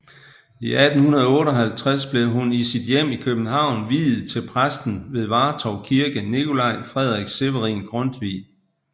I 1858 blev hun i sit hjem i København viet til præsten ved Vartov Kirke Nicolai Frederik Severin Grundtvig